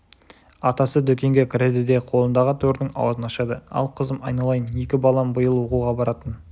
атасы дүкенге кіреді де қолындағы тордың аузын ашады ал қызым айналайын екі балам биыл оқуға баратын